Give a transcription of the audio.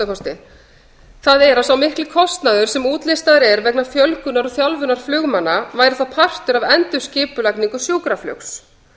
gjörbreyttar það er að sá mikli kostnaður sem útlistaður er vegna fjölgunar og þjálfunar flugmanna væri þá partur af endurskipulagningu sjúkraflugs